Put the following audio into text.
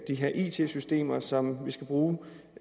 de her it systemer som vi skal bruge og